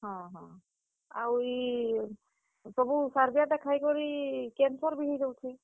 ହଁ, ହଁ, ଆଉ ଇ ସବୁ ସାର୍ ଦିଆଟା ଖାଇକରି, cancer ବି ହେଇଯାଉଛେ।